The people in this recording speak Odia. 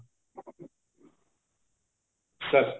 sir